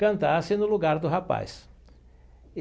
Cantasse no lugar do rapaz.